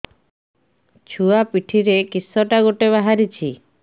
ଛୁଆ ପିଠିରେ କିଶଟା ଗୋଟେ ବାହାରିଛି